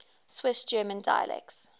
swiss german dialects